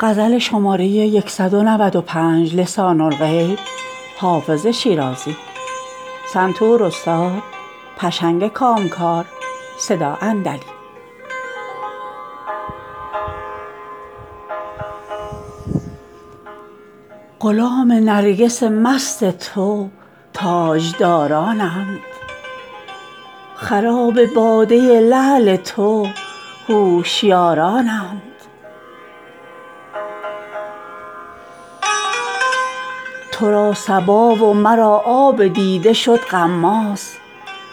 غلام نرگس مست تو تاجدارانند خراب باده لعل تو هوشیارانند تو را صبا و مرا آب دیده شد غماز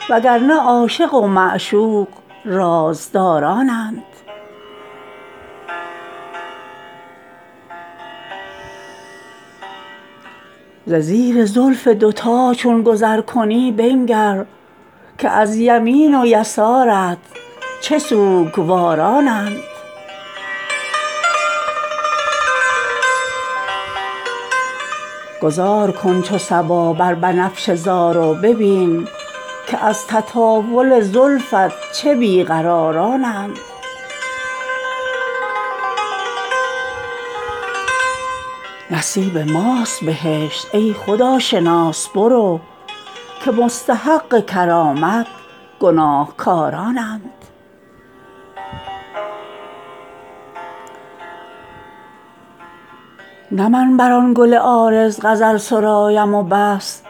و گر نه عاشق و معشوق رازدارانند ز زیر زلف دوتا چون گذر کنی بنگر که از یمین و یسارت چه سوگوارانند گذار کن چو صبا بر بنفشه زار و ببین که از تطاول زلفت چه بی قرارانند نصیب ماست بهشت ای خداشناس برو که مستحق کرامت گناهکارانند نه من بر آن گل عارض غزل سرایم و بس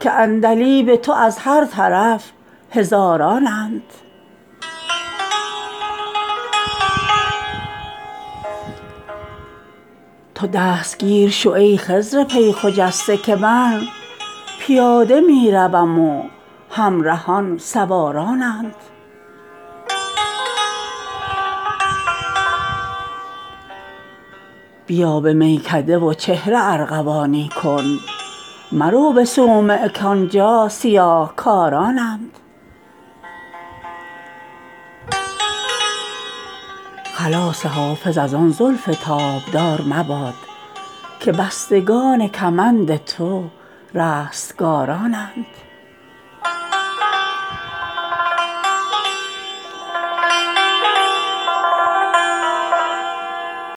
که عندلیب تو از هر طرف هزارانند تو دستگیر شو ای خضر پی خجسته که من پیاده می روم و همرهان سوارانند بیا به میکده و چهره ارغوانی کن مرو به صومعه کآنجا سیاه کارانند خلاص حافظ از آن زلف تابدار مباد که بستگان کمند تو رستگارانند